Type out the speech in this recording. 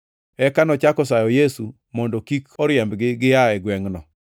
Eka nochako sayo Yesu mondo kik oriembgi gia e gwengʼno.